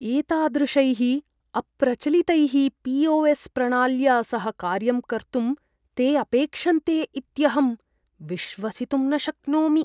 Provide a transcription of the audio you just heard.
एतादृशैः अप्रचलितैः पी.ओ.एस्. प्रणाल्या सह कार्यं कर्तुं ते अपेक्षन्ते इत्यहं विश्वसितुं न शक्नोमि।